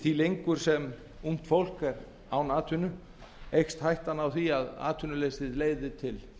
því sem fólk er lengur án atvinnu eykst hættan á því að atvinnuleysið leiði til